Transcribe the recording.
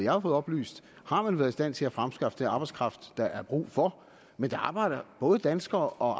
har fået oplyst har man været i stand til at fremskaffe den arbejdskraft der er brug for men der arbejder både danskere og